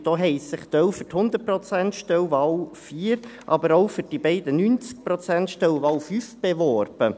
Ein Teil hat sich um die 100-Prozent-Stelle, Wahl 4, aber auch für die beiden 90-Prozent-Stellen, Wahl 5, beworben.